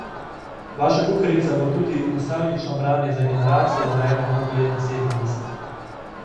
Vaša kuharica bo tudi nostalgično branje za generacijo, rojeno okrog leta sedemdeset.